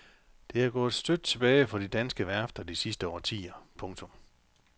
Det er gået støt tilbage for de danske værfter de sidste årtier. punktum